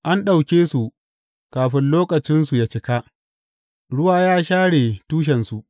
An ɗauke su kafin lokacinsu yă cika, ruwa ya share tushensu.